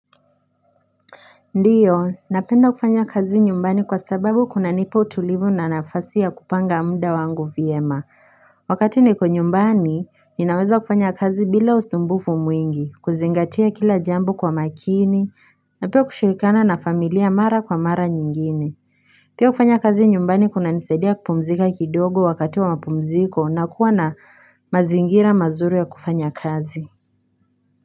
Ndiyo, napenda kufanya kazi nyumbani kwa sababu kuna nipo tulivu na nafasi ya kupanga mda wangu vyema. Wakati ni ko nyumbani, ninaweza kufanya kazi bila usumbufu mwingi, kuzingatia kila jambu kwa makini, na pia kushirikana na familia mara kwa mara nyingine. Pia kufanya kazi nyumbani kuna nisaidia kupumzika kidogo wakati wa mapumziko na kuwa na mazingira mazuri ya kufanya kazi.